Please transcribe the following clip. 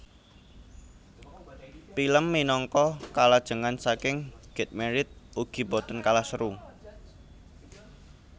Pilem minangka kalajengan saking Get Married ugi boten kalah seru